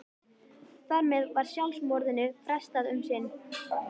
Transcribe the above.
Þar með var sjálfsmorðinu frestað um sinn.